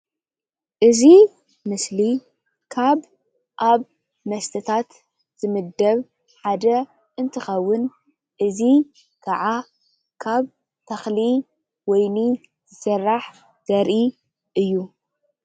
እዚ ምስሊ ካብ ኣብ መስትታት ዝምድብ ሓደ እንትኸውን እዚ ከዓ ካብ ተኽሊ ወይኒ ዝስራሕ ዘርኢ እዩ።